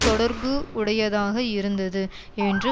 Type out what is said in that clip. தொடர்பு உடையதாக இருந்தது என்று